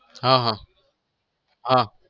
હા હા હા